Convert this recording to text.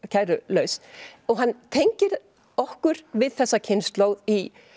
kærulaus og hann tengir okkur við þessa kynslóð í